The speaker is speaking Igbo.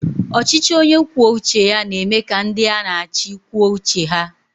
Ọchịchị onye kwuo uche ya na eme ka ndị a na-achị kwuo uche ha